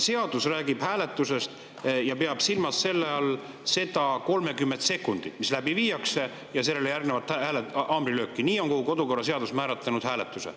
Seadus räägib hääletusest ja peab selle all silmas 30 sekundit, kui seda läbi viiakse, ja sellele järgnevat haamrilööki – nii on kodukorraseadus määratlenud hääletuse.